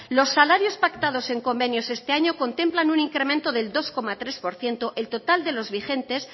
los salarios pactados en convenios este año contemplan un incremento del dos coma tres por ciento el total de los vigentes